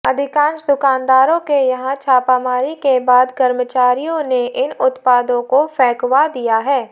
अधिकांश दुकानदारों के यहां छापामारी के बाद कर्मचारियों ने इन उत्पादों को फेंकवा दिया है